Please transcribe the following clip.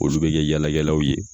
Olu bɛ kɛ yala kɛlaw ye